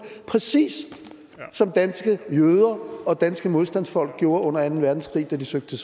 præcis som danske jøder og danske modstandsfolk gjorde under anden verdenskrig da de søgte